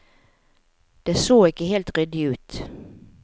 Det så ikke helt ryddig ut.